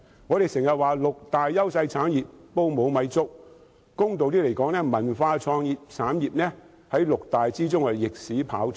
我們經常說六大優勢產業是"煲無米粥"，公道一點地說，在六大優勢產業中，文化創意產業逆市跑出。